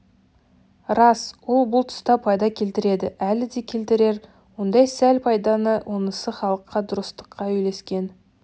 рас ол бұл тұста пайда келтірді әлі де келтірер ондай сәл пайданы онысы халыққа дұрыстыққа үйлескен